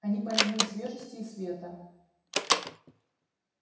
они польны свежести и света